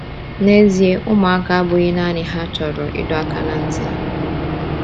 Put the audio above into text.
N’ezie, ụmụaka abụghị naanị ha chọrọ ịdọ aka ná ntị.